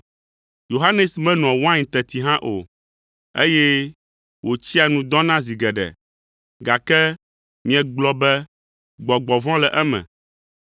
Yohanes menoa wain teti hã o, eye wòtsia nu dɔna zi geɖe, gake miegblɔ be gbɔgbɔ vɔ̃ le eme.